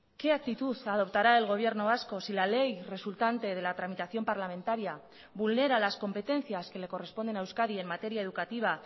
qué actitud adoptará el gobierno vasco si la ley resultante de la tramitación parlamentaria vulnera las competencias que le corresponden a euskadi en materia educativa